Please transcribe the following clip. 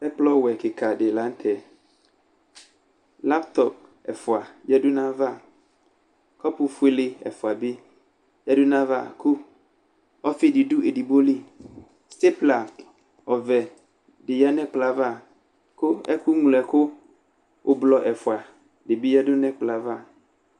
Ɛkplɔwɛ kɩka dɩ lanʋ tɛ Laptɔp ɛfʋa yǝdʋ nʋ ayʋ ava Kɔpʋfuele ɛfʋa bɩ yǝdʋ nʋ ayʋ ava, kʋ ɔfɩ dɩ dʋ edigbo li Stepla ɔvɛ dɩ yǝ nʋ ɛkplɔ yɛ ava, kʋ ɛkʋ ŋloɛkʋ ʋblɔ ɛfʋa dɩbɩ yǝdʋ nʋ ɛkplɔ yɛ ava